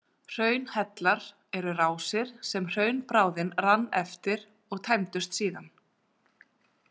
Hraunhellar eru rásir sem hraunbráðin rann eftir og tæmdust síðan.